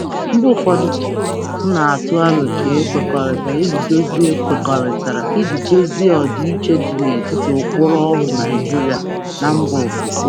Mgbe ụfọdụ, m na-atụ aro ka e kwekọrịtara iji dozie kwekọrịtara iji dozie ọdịiche dị n'etiti ụkpụrụ ọrụ Naijiria na mba ofesi.